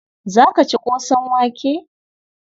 Za ka ci ƙosan wake?